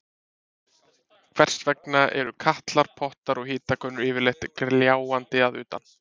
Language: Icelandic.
Hvers vegna eru katlar, pottar og hitakönnur yfirleitt gljáandi að utan?